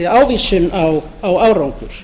ávísun á árangur